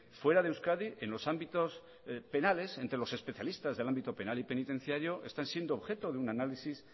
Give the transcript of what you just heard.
fuera de euskadi en los ámbitos penales entre los especialistas del ámbito penal y penitenciario están siendo objeto de un análisis